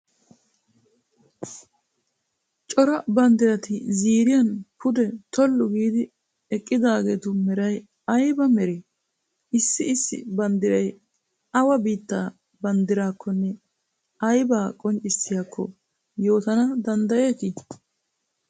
Cora banddirati ziiriyan pude tollu giidi eqqidaageetu meray ayba meree? Issi issi banddiray awa biittaa banddiraakkonne aybaa qonccissiyakko yootana danddayeetii?